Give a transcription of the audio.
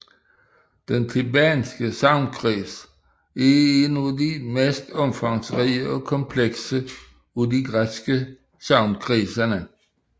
Den thebanske sagnkreds er en af de mest omfangsrige og komplekse af de græske sagnkredse